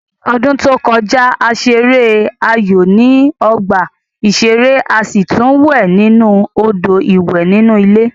Ní ọdún tó kọjá, a ṣeré aayò ní ọgbà ìṣeré a sì tún wẹ̀ nínú Odò ìwẹ̀ inú ilé